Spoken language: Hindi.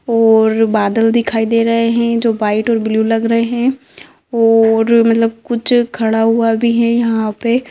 और बादल दिखाई दे रहे है जो व्हाइट और ब्लू लग रहे है और मतलब कुछ खड़ा हुआ भी है यहा पे।